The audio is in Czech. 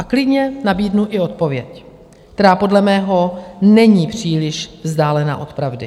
A klidně nabídnu i odpověď, která podle mého není příliš vzdálená od pravdy.